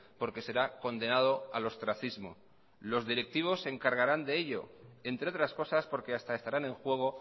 porque será condenado al ostracismo los directivos se encargarán de ello entre otras cosas porque hasta estarán en juego